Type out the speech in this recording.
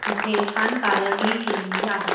तिथे छान कारागिरी केलेली आहे.